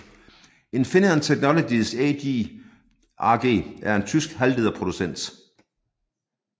Infineon Technologies AG er en tysk halvlederproducent